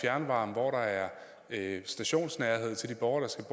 fjernvarme hvor der er stationsnærhed til de borgere der skal